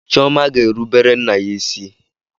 Chioma ga-erubere nna ya isi?